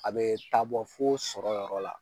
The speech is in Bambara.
A bɛ taa bɔ fo sɔrɔyɔrɔ la.